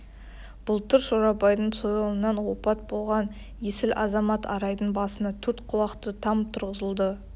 былтыр шорабайдың сойылынан опат болған есіл азамат арайдың басына төрт құлақты там тұрғызылды